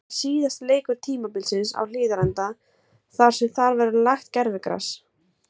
Þetta var síðasti leikur tímabilsins á Hlíðarenda þar sem þar verður lagt gervigras.